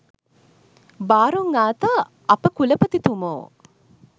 බාරොං ආතා අපකුලපතිතුමෝ